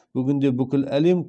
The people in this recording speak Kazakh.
бүгінде бүкіл әлем